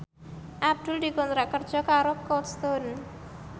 Abdul dikontrak kerja karo Cold Stone